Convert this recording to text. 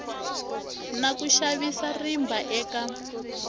na ku xavisa rimba eka